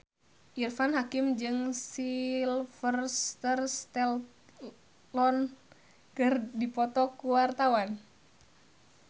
Irfan Hakim jeung Sylvester Stallone keur dipoto ku wartawan